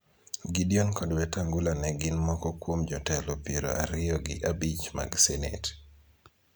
Gideon kod Wetangula ne gin moko kuom jotelo piero ariyo gi abich mag senet